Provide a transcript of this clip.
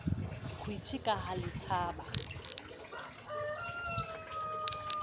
kgwiti ka ha le tshaba